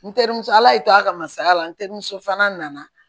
N terimuso ala y'i to a ka masaya la n terimuso fana nana